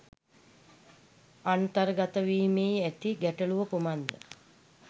අන්තර්ගතවීමේහි ඇති ගැටළුව කුමක්ද